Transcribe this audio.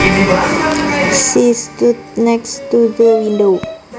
She stood next to the window